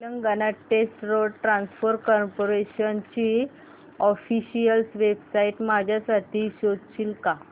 Telangana state road transport corporation ची official website माझ्यासाठी शोधशील का